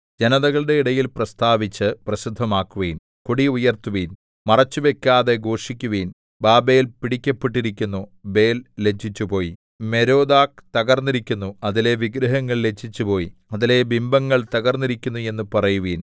ജനതകളുടെ ഇടയിൽ പ്രസ്താവിച്ച് പ്രസിദ്ധമാക്കുവിൻ കൊടി ഉയർത്തുവിൻ മറച്ചുവയ്ക്കാതെ ഘോഷിക്കുവിൻ ബാബേല്‍ പിടിക്കപ്പെട്ടിരിക്കുന്നു ബേൽ ലജ്ജിച്ചുപോയി മേരോദാക്ക് തകർന്നിരിക്കുന്നു അതിലെ വിഗ്രഹങ്ങൾ ലജ്ജിച്ചുപോയി അതിലെ ബിംബങ്ങൾ തകർന്നിരിക്കുന്നു എന്ന് പറയുവിൻ